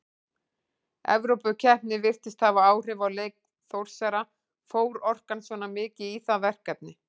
Evrópukeppnin virtist hafa áhrif á leik Þórsara, fór orkan svona mikið í það verkefni?